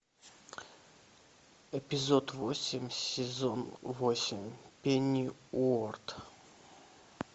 эпизод восемь сезон восемь пенниуорт